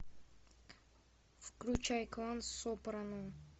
включай клан сопрано